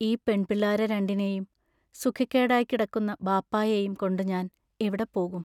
ഈ പെൺപിള്ളേരെ രണ്ടിനേയും സുഖക്കേടായിക്കിടക്കുന്ന ബാപ്പായേയും കൊണ്ടു ഞാൻ എവിടെപ്പോകും?